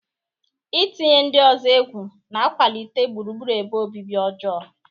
Ị tinye ndị ọzọ egwu na-akwalite gburugburu ebe obibi ọjọọ.